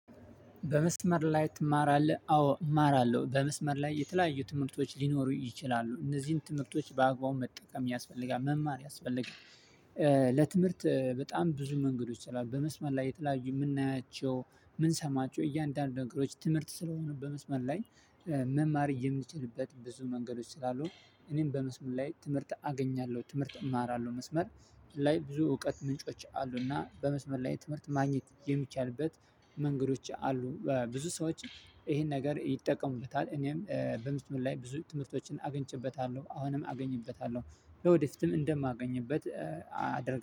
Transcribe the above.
በመስመር ላይ ትማራለህ? አዎ እማራለሁ። በመስመር ላይ የተለያዩ ትምህርቶች ሊኖሩ ይችላሉ። እነዚህን ትምህርቶች በአግባቡ መጠቀም ያስፈልጋል። መማር ያስፈልጋል። ለትምህርት በጣም ብዙ መንገዶች ስላሉ በመስመር ላይ የተለያዩ የምናያቸው የምንሰማቸው እያንዳንዱ ነገሮች ትምህርት ስለሆኑ በመስመር ላይ መማር የምንችልበት ብዙ መንገዶች ስላሉ እኔም በመስመር ላይ ትምህርት አገኛለሁ። ትምህርት እማራለሁ። መስመር ላይ ብዙ እውቀት ምንጮች አሉና በመስመር ላይ የትምህርት ማግኘት የሚቻልበት መንገዶች አሉ ብዙ ሰዎች ይሄን ነገር ይጠቀሙበታል። እኔም በምስመል ላይ ብዙ ትምህርቶችን አግኝቼበታለ። አሁንም አገኝበታለሁ። ለወዴትም እንደማገኝበት አደርጋለሁ።